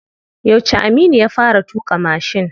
Yauce Aminu ya fara tuƙa mashin?